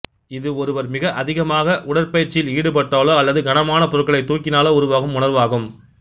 இது ஒருவர் மிக அதிகமாக உடற்பயிற்சியில் ஈடுபட்டாலோ அல்லது கனமான பொருட்களை தூக்கினாலோ உருவாகும் உணர்வாகும்